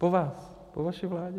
Po vás, po vaší vládě.